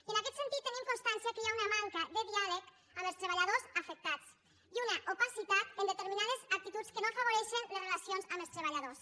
i en aquest sentit tenim constància que hi ha una manca de diàleg amb els treballadors afectats i una opacitat en determinades actituds que no afavoreixen les relacions amb els treballadors